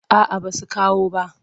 A a basu kawo bah.